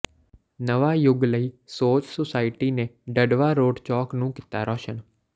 ਨਵਾਂ ਯੁਗ ਨਈ ਸੋਚ ਸੁਸਾਇਟੀ ਨੇ ਡਡਵਾਂ ਰੋਡ ਚੌਕ ਨੂੰ ਕੀਤਾ ਰੌਸ਼ਨ